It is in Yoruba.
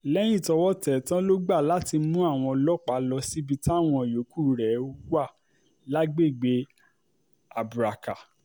lẹ́yìn tọ́wọ́ tẹ̀ ẹ́ tán ló gbà láti mú àwọn ọlọ́pàá lọ síbi táwọn yòókù rẹ̀ wà lágbègbè abraka